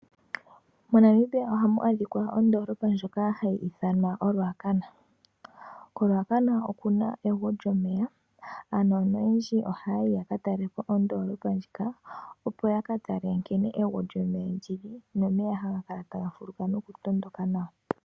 MoNamibia oha mu adhika ondoolopa ndyoka ha yi ithanwa oRuacana, koRuacana oku na egwo lyomeya ano noyendji oha ya yi katalelapo ondoolopa ndjika, opo ya ka tale nkene egwo lyomeya lyili nomeya ha ga kala taga fuluka noku tondoka nawa.